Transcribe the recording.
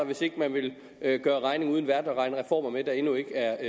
hvis ikke man vil gøre regning uden vært og regne reformer med der endnu ikke er